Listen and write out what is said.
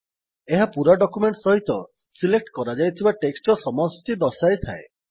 ଏହା ପୂରା ଡକ୍ୟୁମେଣ୍ଟ୍ ସହିତ ସିଲେକ୍ଟ୍ କରାଯାଇଥିବା ଟେକ୍ସଟ୍ ର ସମଷ୍ଟି ଦର୍ଶାଇଥାଏ